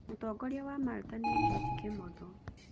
Mũtongoria wa Malta nĩ George Kimotho.